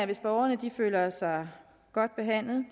hvis borgerne føler sig godt behandlet